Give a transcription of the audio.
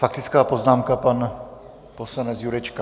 Faktická poznámka, pan poslanec Jurečka.